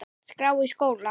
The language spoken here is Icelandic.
skrá í skóla?